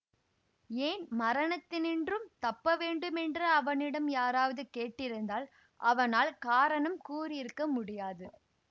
ஏன் மரணத்தினின்றும் தப்பவேண்டுமென்று அவனிடம் யாராவது கேட்டிருந்தால் அவனால் காரணம் கூறியிருக்க முடியாது